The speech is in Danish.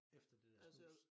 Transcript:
Efter det dér snus